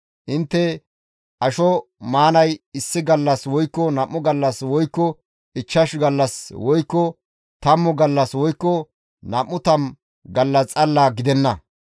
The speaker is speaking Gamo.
Intte asho maanay issi gallas woykko nam7u gallas woykko ichchashu gallas woykko tammu gallas woykko nam7u tammu gallas xalla gidenna.